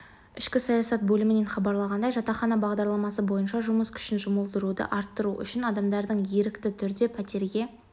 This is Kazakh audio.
ішкі саясат бөлімінен хабарланғанындай жатақхана бағдарламасы бойынша жұмыс күшін жұмылдыруды арттыру үшін адамдарды ерікті түрде пәтерге